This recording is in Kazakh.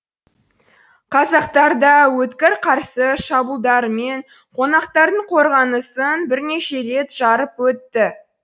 қазақтар да өткір қарсы шабуылдарымен қонақтардың қорғанысын бірнеше рет жарып өтті